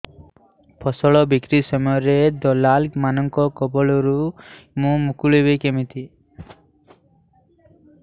ଫସଲ ବିକ୍ରୀ ସମୟରେ ଦଲାଲ୍ ମାନଙ୍କ କବଳରୁ ମୁଁ ମୁକୁଳିଵି କେମିତି